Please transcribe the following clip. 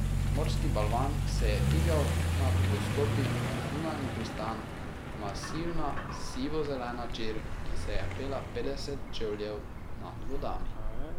Morski balvan se je dvigal nad dostopi v zunanji pristan, masivna sivo zelena čer, ki se je pela petdeset čevljev nad vodami.